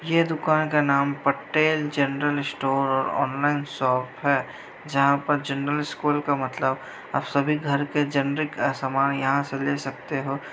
यह दुकान का नाम Patel general store online shop है| जहां पर जनरल स्टोर का मतलब आप सभी घर के जेनेरिक सामान यहां से ले सकते हो।